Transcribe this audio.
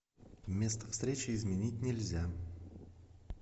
место встречи изменить нельзя